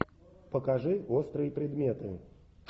покажи острые предметы